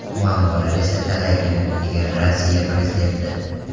Muammolar esa talaygina”, degan Rossiya prezidenti.